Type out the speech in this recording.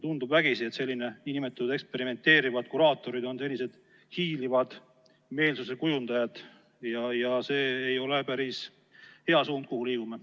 Tundub vägisi, et sellised nn eksperimenteerivad kuraatorid on hiilivad meelsuse kujundajad, ja see ei ole päris hea suund, kuhu me liigume.